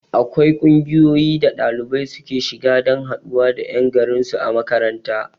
Akwai ƙungiyoyi da ɗalibai suke shiga dan haɗuwa da ƴan garin su a makaranta